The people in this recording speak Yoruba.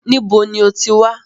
Níbo ní o ti wá?